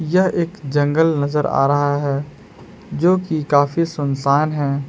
यह एक जंगल नजर आ रहा है जो की काफी सुनसान है।